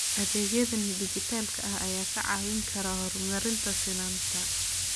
Adeegyada dijitaalka ah ayaa kaa caawin kara horumarinta sinnaanta.